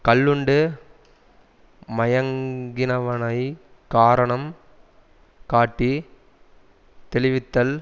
கள்ளுண்டு மயங்குனவனைக் காரணம் காட்டி தெளிவித்தல்